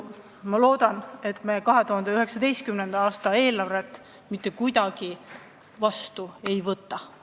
Ma loodan, et me 2019. aasta eelarvet sellisel kujul vastu ei võta.